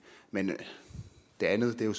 men det andet er jo